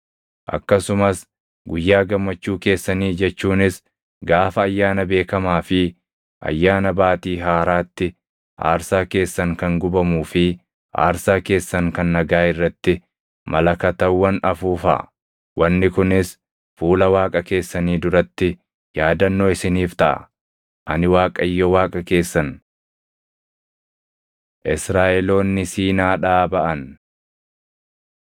Akkasumas guyyaa gammachuu keessanii jechuunis gaafa ayyaana beekamaa fi Ayyaana Baatii Haaraatti aarsaa keessan kan gubamuu fi aarsaa keessan kan nagaa irratti malakatawwan afuufaa; wanni kunis fuula Waaqa keessanii duratti yaadannoo isiniif taʼa. Ani Waaqayyo Waaqa keessan.” Israaʼeloonni Siinaadhaa Baʼan